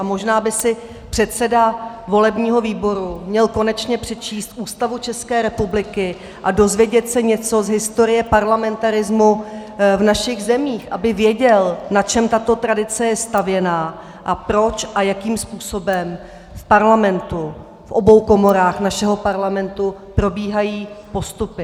A možná by si předseda volebního výboru měl konečně přečíst Ústavu České republiky a dozvědět se něco z historie parlamentarismu v našich zemích, aby věděl, na čem tato tradice je stavěná a proč a jakým způsobem v Parlamentu, v obou komorách našeho Parlamentu, probíhají postupy.